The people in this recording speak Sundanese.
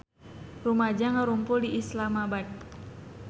Rumaja ngarumpul di Islamabad